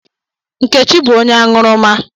Nkechi bu onye aṅụrụma.